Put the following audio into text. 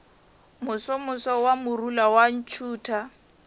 mosomoso wa morula wa ntšhutha